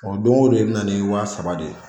O don o don i bɛ na ni wa saba de ye